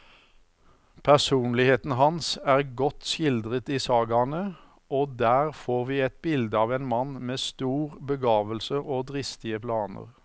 Personligheten hans er godt skildret i sagaene, og der får vi et bilde av en mann med stor begavelse og dristige planer.